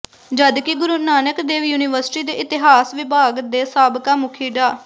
ਜਦਕਿ ਗੁਰੂ ਨਾਨਕ ਦੇਵ ਯੂਨੀਵਰਸਿਟੀ ਦੇ ਇਤਿਹਾਸ ਵਿਭਾਗ ਦੇ ਸਾਬਕਾ ਮੁਖੀ ਡਾ